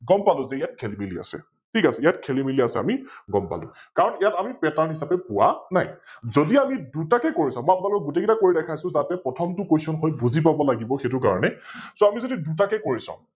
গম পালোইয়াত খেলি মেলি আছে, ঠিক আছে ইয়াত খেলি মেলি আছে আমি গম পালো কাৰন ইয়াক আমি Pattern হিছাপে পোৱা নাই । যদি আমি দুটাকৈ কৰি চাও মই আপোনলোকক গোটেই কৈইটা কৰি দেখাই আছো যাতে প্ৰথমটো Question হয় বুজি পাব লাগিব সৈতো কাৰনে So আমি দুটাকৈ কৰি চাও